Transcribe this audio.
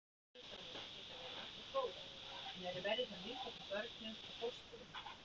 Batahorfur fullorðinna geta verið nokkuð góðar en eru verri hjá nýfæddum börnum og fóstrum.